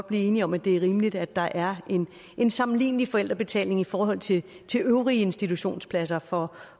blive enige om at det er rimeligt at der er en sammenlignelig forældrebetaling i forhold til øvrige institutionspladser for